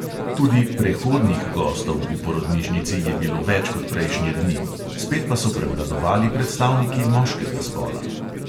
Tudi "prehodnih gostov" v porodnišnici je bilo več kot prejšnje dni, spet pa so prevladovali predstavniki moškega spola.